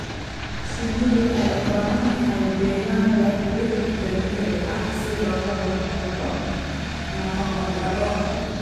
Shinnidu waxay u baahan tahay deegaan leh dhir dabiici ah si looga hortago nafaqo darro.